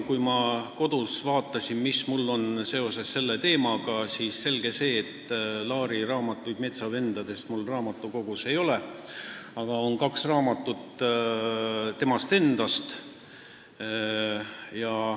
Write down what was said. Kui ma vaatasin kodus, mis mul on seoses selle teemaga, siis Laari raamatuid metsavendadest mul raamatukogus ei ole, aga on kaks raamatut temast endast.